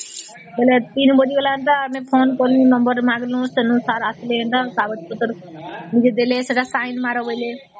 ବୋଇଲେ ୩ ବାଜିଗଲା ଏନ୍ତୁ ଆମେ phone କଲୁ number ମାରିଲୁ sir ଆସିଲେ ଏନ୍ତା ତ ପରେ ସେଟା ଦେଲେ sign ମାର ବୋଲେ